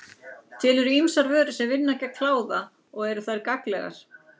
Til eru ýmsar vörur sem vinna gegn kláða og eru þær mis gagnlegar.